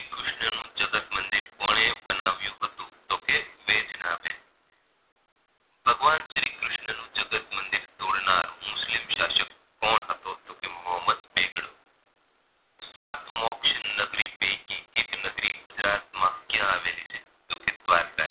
ભગવાન શ્રી કૃષ્ણ નું જગત મંદિર તોડનાર મુસ્લિમ શાશક કોણ હતો તો કે મોહમ્મદ બેગડો સાત મોક્ષ ની નગરી પૈકી એક નગરી ગુજરાત માં ક્યાં આવેલી છે તો કે દ્વારકા